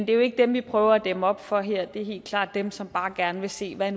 jo ikke dem vi prøver at dæmme op for her det er helt klart dem som bare gerne vil se hvad